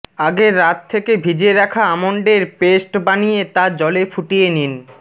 আগের রাত থেকে ভিজিয়ে রাখা আমন্ডের পেস্ট বানিয়ে তা জলে ফুটিয়ে নিন